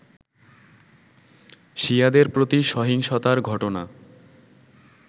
শিয়াদের প্রতি সহিংসতার ঘটনা